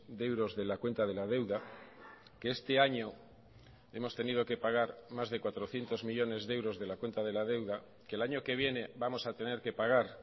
de euros de la cuenta de la deuda que este año hemos tenido que pagar más de cuatrocientos millónes de euros de la cuenta de la deuda que el año que viene vamos a tener que pagar